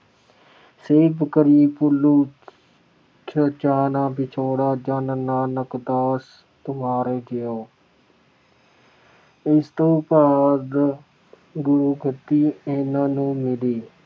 Save ਕਰੀ ਪਲੁ ਚਸਾ ਨ ਵਿਛੁੜਾ ਜਨ ਨਾਨਕ ਦਾਸ ਤੁਮਾਰੇ ਜੀਉ ॥ ਇਸ ਤੋਂ ਬਾਅਦ ਗੁਰਗੱਦੀ ਇਹਨਾਂ ਨੂੰ ਮਿਲੀ।